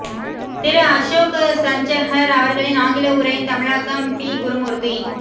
திரு அஷோக் சஜ்ஜன்ஹர் அவர்களின் ஆங்கில உரையின் தமிழாக்கம் பி குருமூர்த்தி